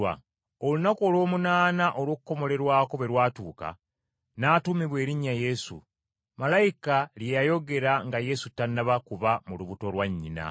Olunaku olw’omunaana olw’okukomolerwako bwe lwatuuka, n’atuumibwa erinnya Yesu , malayika lye yayogera nga Yesu tannaba kuba mu lubuto lwa nnyina.